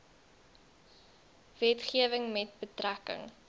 wetgewing met betrekking